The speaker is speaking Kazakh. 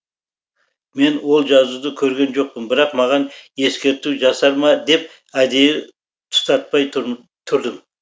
мен ол жазуды көрген жоқпын бірақ маған ескерту жасар ма деп әдейі тұтатпай тұрдым